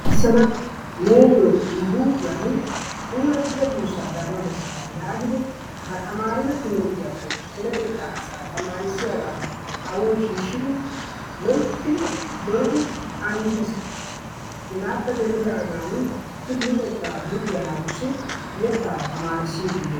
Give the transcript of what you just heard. Neyoo ne huuphphiyaan puulattida duussaa daanawu beessasa yaagidi ba taamarido timirttiyaappe deretettaa asaa tamarissiyaagaa kawoy shiishidi loyttidi zootidi anjjiis. hegaappe dendidaagan i luxettaa luxxiyaa naatussi yeetaa tamarissidi beettees.